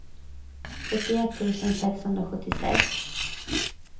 sjuttioett tusen sexhundrasjuttiosex